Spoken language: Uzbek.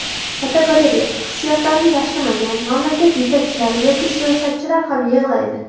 Fotogalereya: Hissiyotlarini yashirmagan mamlakat yetakchilari yoki siyosatchilar ham yig‘laydi.